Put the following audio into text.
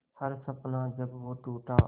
हर सपना जब वो टूटा